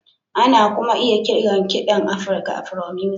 Ana kuma iya kiran kiɗan Afirka Afro-music